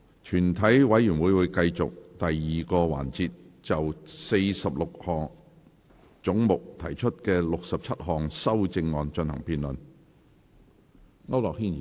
全體委員會會繼續第二個環節，就46個總目提出的67項修正案進行辯論。